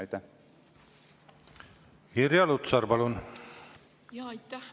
Irja Lutsar, palun!